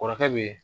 Kɔrɔkɛ be ye